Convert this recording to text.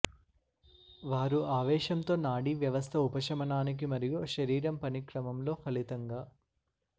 వారు ఆవేశంతో నాడీ వ్యవస్థ ఉపశమనానికి మరియు శరీరం పని క్రమంలో ఫలితంగా